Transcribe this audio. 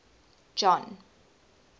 john